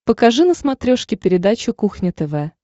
покажи на смотрешке передачу кухня тв